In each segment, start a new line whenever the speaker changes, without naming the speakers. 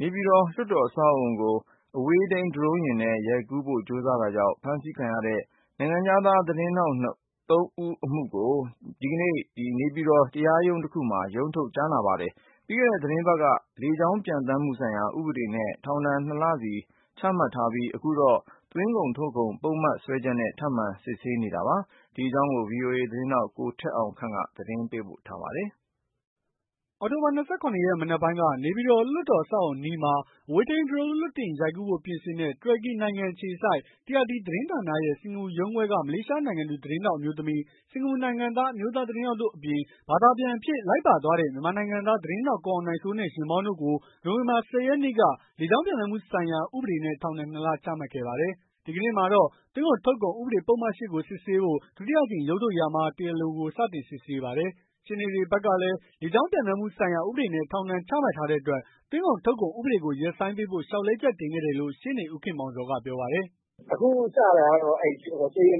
နေပြည်တော် လွှတ်တော်အဆောက်အဦးကို အဝေးထိန်းဒရုန်းနဲ့ ရိုက်ကူးဖို့ ကြိုးစားတာကြောင့် ဖမ်းဆီးခံရတဲ့ သတင်းထောက်သုံးဦးအမှုကို ဒီကနေ့ နေပြည်တော်တရားရုံးတခုမှာ ရုံးထုတ်ကြားနာပါတယ်။ ပြီးခဲ့တဲ့ သီတင်းပတ်ကတော့ လေကြောင်းပျံသန်းမှုဆိုင်ရာ ဥပဒေနဲ့ ထောင်ဒဏ်နှစ်လစီ ချမှတ်ထားပြီး၊ အခုတော့ သွင်းကုန် ထုတ်ကုန်ပုဒ်မစွဲချက်နဲ့ ထပ်မံ တရားစစ်ဆေးနေတာပါ။ ဒီအကြောင်း ဗွီအိုအေ သတင်းထောက် ကိုထက်အောင်ခန့် သတင်းပေးပို့ထားပါတယ်။ အောက်တိုဘာ ၂၇ ရက် မနက်ပိုင်းက နေပြည်တော်လွှတ်တော်အဆေ
ာက်အအုံအနီးမှာ အဝေးထိန်း ဒရုန်းလွှတ်တင်ရိုက်ကူးဖို့ ပြင်ဆင်တဲ့ တူရကီနိုင်ငံအခြေစိုက် TRT သတင်းဌာနရဲ့ စင်္ကာပူရုံးခွဲက မလေးရှားနိုင်ငံသူ သတင်းထောက်အမျိုးသမီး ၊ စင်ကာပူနိုင်ငံသား အမျိုးသားသတင်းထောက်တို့အပြင် ဘာသာပြန်အဖြစ် လိုက်ပါသွားတဲ့ မြန်မာနိုင်ငံသား သတင်းထောက်ကိုအောင်နိုင်စိုးနဲ့ ယာဉ်မောင်းတို့ကိုနိုဝင်ဘာ ၁၀ ရက်နေ့က လေကြောင်းပျံသန်းမှုဆိုင်ရာ ဥပဒေနဲ့ ထောင်ဒဏ် ၂ လ ချမှတ်ခဲ့ပါတယ်။ ဒီကနေ့မှာတော့ သွင်းကုန်ထုတ်ကုန် ဥပဒေပုဒ်မ ၈ ကိုစစ်ဆေးဖို့ ဒုတိယအကြိမ်ရုံးထုတ်ရာမှာ တရားလိုကို စတင်စစ်ဆေးပါတယ်။ ရှေ့နေတွေဘက်ကလည်း လေကြောင်းပျံသန်းမှုဆိုင်ရာ ဥပဒေနဲ့ ထောင်ဒဏ်ချမှတ် ထားတဲ့အတွက် သွင်းကုန်ထုတ်ကုန် ဥပဒေကိုရပ်ဆိုင်းပေးဖို့ လျှောက်လဲချက်တင်ခဲ့တယ်လို့ ရှေ့နေဦးခင်မောင်ဇော်ကပြောပါတယ်
။ “အခုစတာကတော့ တရားလိုပေါ့ဗျာ တရား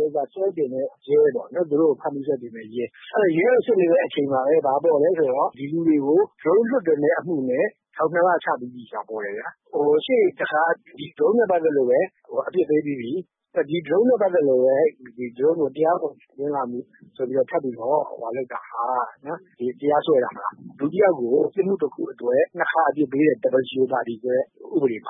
လို ဆွဲတင်တဲ့ရဲ ကိုစစ်နေတဲ့အချိန်မှာ ဘာပေါ်သလဲဆိုတော့ ဒီလူတွေကို Drone လွှတ်တင်တဲ့အမှုနဲ့ ထောင် ၂ လ ချပြီးပြီဆိုတာ ပေါ်တယ်ခင်ဗျ ။ ရှေ့တခါကတော့ Droneနဲ့ ပတ်သက်လို့ပဲ အပြစ်ပေးပြီးပြီ ။ အခုလည်း Drone နဲ့ ပတ်သက်ပြီးတော့ ပြန်ချတာဟာ တရားစွဲတာဟာ လူတယောက်ကို ပြစ်မှုတခုအတွက် ၂ ခါအပြစ်ပေးတဲ့ ဥပဒေဘော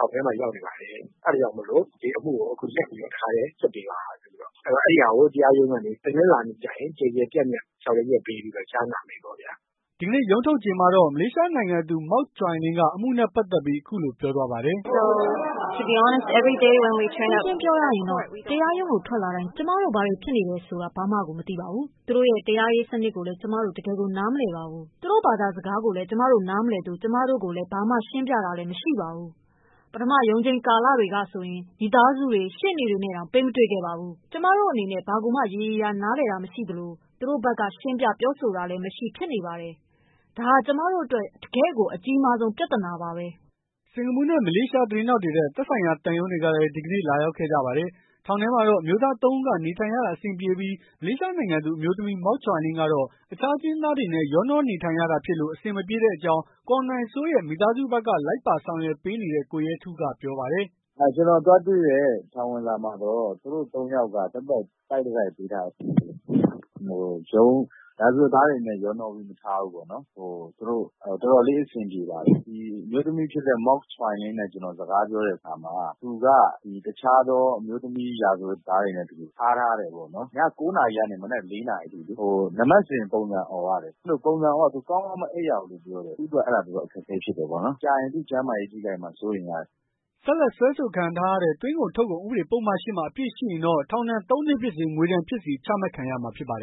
င်ထဲမှာ ရောက်နေပါတယ်။ အဲဒါကြောင့်မို့လို့ဒီအမှုကို ရပ်ပြီးတော့ စစ်ပေးပါဆိုပြီးတော့ အဲဒါကို တရားရုံးကနေပြီးတော့ တနင်္လာနေ့ကျရင် ကျယ်ကျယ်ပြန့်ပြန့် ဆောင်ရွက်ပေးပြီးတော့ ကြားနာမယ်ပေါ့ဗျာ။
” ဒီကနေ့ရုံးထုတ်ချိန်မှာတော့ မလေးရှားနိုင်ငံသူ Ms.Mok Choy Lin က အမှုနဲ့ပတ်သက်ပြီး အခုလိုပြောသွားပါတယ်
။ “ရှင်းရှင်းပြောရရင်တော့ တရားရုံးကို ထွက်လာတိုင်း ကျမတို့ ဘာတွေဖြစ်နေတယ်ဆိုတာ ဘာမှကို မသိပါဘူး။ သူ့တိုရဲ့ တရားရေးစနစ်ကိုလည်း ကျမတို့ တကယ့်ကို နားမလည်ပါဘူး။ သူတို့ ဘာသာစကားကိုလည်း နားမလည်ပါဘူး၊ ကျမတို့ကို ဘာမှ ရှင်းပြတာလည်း မရှိပါဘူး။ ပထမ ရုံးချိန်းကာလကဆိုရင် မိသားစုတွေ ရှေ့နေတွေနဲ့တောင် ပေးမတွေ့ပါဘူး။ ကျမတို့အနေနဲ့ ဘာကိုမှ ရေရေရာရာ နားလည်တာမရှိသလို၊ သူတို့ဖက်က ရှင်းပြ ပြောဆိုတာလည်း မရှိဖြစ်နေပါတယ်။ ဒါဟာ ကျမတို့အတွက်တော့ တကယ့်ကို အကြီးဆုံး ပြဿနာပါ။”
စင်္ကာပူနဲ့ မလေးရှား သတင်းထောက်တွေအတွက် သက်ဆိုင်ရာသံရုံးတွေကလည်း ဒီကနေ့ လာရောက်ခဲ့ကြပါတယ်။ ထောင်ထဲမှာတော့ အမျိုးသားသုံးဦးက နေထိုင်ရတာအဆင်ပြေပြီး မလေးရှားနိုင်ငံသူ အမျိုးသမီး Ms.Mok Choy Lin ကတော့ အခြားအကျဉ်းသားတွေနဲ့ ရောနှောနေထိုင်ရတာဖြစ်လို့ အဆင်မပြေတဲ့အကြောင်း ကိုအောင်နိုင်စိုးရဲ့ မိသားစုဘက် လိုက်ပါဆောင်ရွက်ပေးနေတဲ့ ကိုရဲထူးကပြောပါတယ်
။ “ကျနော်သွားတွေ့တဲ့ ထောင်ဝင်စာမှာတော့ သူတို့ ၃ ယောက်ကို တိုက်တတိုက်ပေးထားတယ် ၊ ရာဇဝတ်သားတွေနဲ့တော့ ရောနှောပြီးတော့ မထားဘူးပေါ့နော် သူတို့ တော်တော်လေးအဆင်ပြေပါတယ်။ ဒီအမျိုးသမီးဖြစ်တဲ့ Ms.Mok Choy Lin နဲ့ စကားပြောတဲ့အခါမှာ သူက တခြားသော အမျိုးသမီးရာဇဝတ်သားတွေနဲ့ ထားထားတယ်ပေါ့နော်။ ည ၉ နာရီကနေ မနက် ၄ နာရီအထိ နံပတ်စဉ်ပုံစံ အော်ရတယ်၊ အဲဒီလိုပုံစံအော်ရတော့ ကောင်းကောင်းမအိပ်ရဘူးလို့ပြောတယ်။ သူ့အတွက် အဲဒါ အခက်အခဲဖြစ်တယ် လို့ပြောတယ်။ ကြာရင် သူ့ကျန်းမာရေးထိခိုက်မှာ စိုးရိမ်ရတယ်။” ဆက်လက်စွဲဆိုခံထားရတဲ့ သွင်းကုန်ထုတ်ကုန်ဥဒေပုဒ်မ ၈
မှာ အပြစ်ရှိရင်တော့ ထောင်ဒဏ် ၃ နှစ်ဖြစ်စေ ငွေဒဏ်ဖြစ်စေ ချမှတ်ခံရမှာဖြစ်ပါတယ်